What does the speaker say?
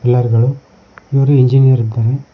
Pillar ಗಳು ಇವರು engineer ಇದ್ದಾರೆ.